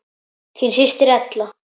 Þín systir Ella.